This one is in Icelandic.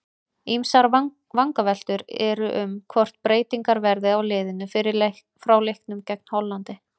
Ýmsar vangaveltur eru um hvort breytingar verði á liðinu frá leiknum gegn Hollandi.